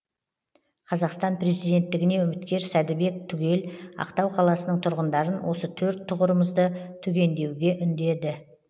қазақстан президенттігіне үміткер сәдібек түгел ақтау қаласының тұрғындарын осы төрт тұғырымызды түгендеуге үндеді